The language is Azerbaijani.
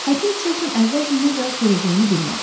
Həkim Chilton əvvəlcə nə cavab verəcəyini bilmədi.